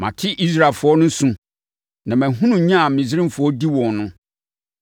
Mate Israelfoɔ no su, na mahunu nya a Misraimfoɔ di wɔn no.